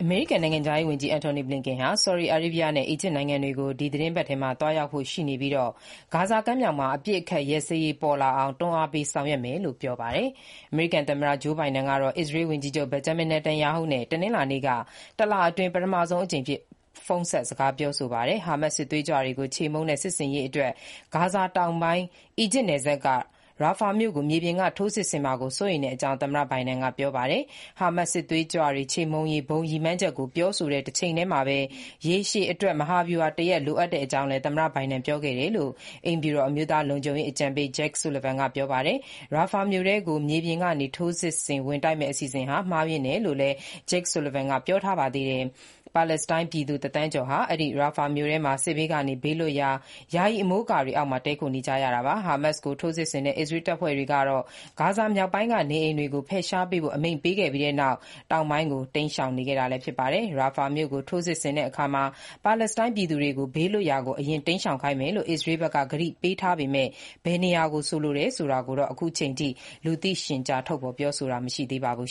မေရိကန်နိုင်ငံခြားရေးဝန်ကြီး Antony Blinken ဆော်ဒီအာရေဗီးယားနဲ့ အီဂျစ်နိုင်ငံတွေကို ဒီသီတင်းပတ် သွားရောက်ဖို့ရှိပြီး ဂါဇာ ကမ်းမြှောင်မှာ အပစ်အခတ်ရပ်စဲရေး ပေါ်လာအောင် တွန်းအားပေး ဆောင်ရွက်မယ်လို့ ပြောဆိုပါတယ်။ အမေရိကန် သမ္မတ Joe Biden ကတော့ အစ္စရေး ဝန်ကြီးချုပ် Benjamin Netanyahu နဲ့ တနင်္လာနေ့က တလအတွင်း ပထမဆုံးအကြိမ် ဖုန်းဆက် စကားပြောဆိုပါတယ်။ ဟာမတ်စ် စစ်သွေးကြွတွေကို ချေမှုန်းတဲ့ စစ်ဆင်ရေးအတွက် ဂါဇာတောင်ဘက်ပိုင်း အီဂျစ်နယ်စပ်က Rafah မြို့ကို မြေပြင်က ထိုးစစ်ဆင်မှာ စိုးရိမ်တဲအ့ကြောင်း သမ္မတ Biden က ပြောဆိုပါတယ်။ ဟာမတ်စစ်သွေးကြွတွေ ခြေမှုန်းရေး ဘုံ ရည်မှန်းချက်ကို ပြောဆိုတဲ့ တချိန်တည်းမှာ အဆက်အစပ်ရှိရှိ ရေရှည်အတွက် မဟာဗျုဟာ တရပ် လိုအပ်တဲ့အကြောင်းလည်း သမ္မတ ဘိုင်ဒန် အစ္စရေးဝန်ကြီးချုပ်ကို ပြောခဲ့တာကို အိမ်ဖြူတော် အမျိုးသား လုံခြုုံရေးအကြံပေး Jake Sullivan က ပြန်ပြောဆိုပါတယ်။ Rafah မြို့ထဲကို မြေပြင်ကနေ ထိုးစစ်ဆင် ဝင်တိုက်မယ့် အစီအစဉ်ဟာ မှားယွင်းတယ်လို့လည်း Jake Sullivan က ပြောပါတယ်။ ပါလက်စတိုင်း ပြည်သူ တသန်းကျော်ဟာ အဲဒီ Rafah မြို့ထဲမှာ စစ်ဘေးကနေ ဘေးလွတ်ရာ ယာယီ အမိုးအကာတွေအောက်မှာ တည်းခိုနေကြတာပါ။ ဟာမတ်စ်ကို ထိုးစစ်ဆင်တဲ့ အစ္စရေးတပ်ဖွဲ့တွေက ဂါဇာမြောက်ပိုင်းက နေအိမ်တွေကနေ ဖယ်ရှားပေးဖို့ အမိန့်ပေးခဲ့ပြီးတဲ့နောက် တောင်ပိုင်းကို တိမ်းရှောင်ခဲ့တာပါ။ Rafah မြို့ကို ထိုးစစ်ဆင်မယ်ဆိုရင် ပါလက်စတိုင်းပြည်သူတွေကို ဘေးလွတ်ရာ အရင် တိမ်းရှောင်ခိုင်းမယ်လို့ အစ္စရေးဘက်က ကတိပေးပေမဲ့ ဘယ်နေရာကိုဆိုတာကိုတော့ အခုအထိ လူသိရှင်ကြား ထုတ်ပြန်ပြောဆိုတာ မရှိသေးပါဘူး